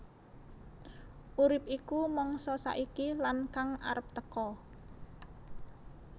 Urip iku mangsa saiki lan kang arep teka